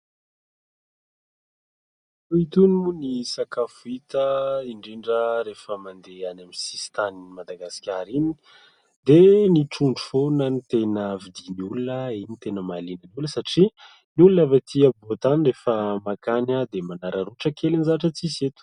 Toa itony moa ny sakafo hita indrindra rehefa mandeha any amin'ny sisin-tanin'i Madagasikara iny, dia ny trondro foana no tena vidian'ny olona, iny no tena mahaliana ny olona satria ny olona avy aty afovoan-tany rehefa mankany dia manararaotra kely ny zavatra tsy misy eto.